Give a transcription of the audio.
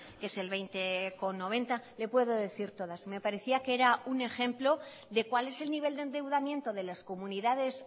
que es el veinte coma noventa le puedo decir todas me parecía que era un ejemplo de cuál es el nivel de endeudamiento de las comunidades